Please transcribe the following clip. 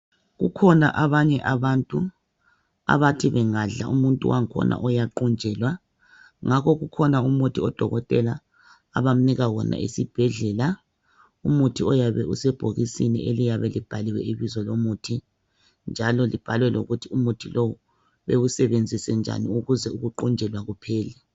Kukhona abanye abantu abathi bengadla umuntu wakhona uyaqunjelwa ngakho kukhona umuthi odokotela abamnika wona esibhedlela. Umuthi oyabe usebhokisini eliyabe libhaliwe ibizo lomuthi njalo libhalwe lokuthi umuthi lowu bewusebenzise njani ukuze ukuqunjelwa kuphele.